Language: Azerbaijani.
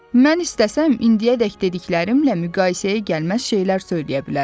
Mən istəsəm, indiyədək dediklərimlə müqayisəyə gəlməz şeylər söyləyə bilərəm.